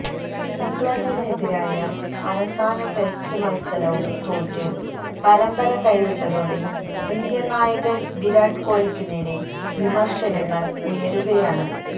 ഇംഗ്ലണ്ടിനെതിരായ അവസാന ടെസ്റ്റ് മൽസരവും തോറ്റ് പരമ്പര കൈവിട്ടതോടെ ഇന്ത്യൻ നായകൻ വിരാട് കോഹ്ലിക്കുനേരെ വിമർശനങ്ങൾ ഉയരുകയാണ്